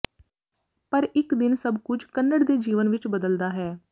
ਪਰ ਇਕ ਦਿਨ ਸਭ ਕੁਝ ਕੱਨੜ ਦੇ ਜੀਵਨ ਵਿੱਚ ਬਦਲਦਾ ਹੈ